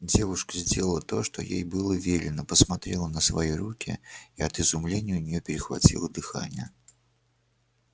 девушка сделала то что ей было велено посмотрела на свои руки и от изумления у неё перехватило дыхание